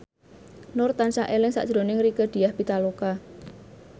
Nur tansah eling sakjroning Rieke Diah Pitaloka